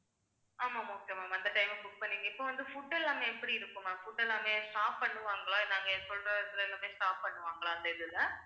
ஆமா okay ma'am அந்த time அ book பண்ணிருங்க இப்ப வந்து food எல்லாமே எப்படி இருக்கும் ma'am food எல்லாமே stop பண்ணுவாங்களா நாங்க சொல்ற இதில எல்லாமே stop பண்ணுவாங்களா அந்த இதில